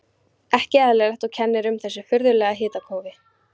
Ekki eðlilegt, og kennir um þessu furðulega hitakófi.